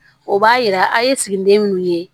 O b'a yira a ye siginiden minnu ye